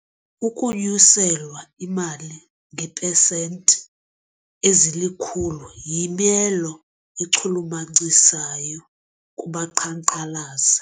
Ukunyuselwa imali ngeepesenti ezilikhulu yimelo echulumachisayo kubaqhankqalazi.